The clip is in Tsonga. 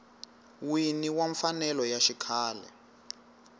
wini wa mfanelo ya xikhale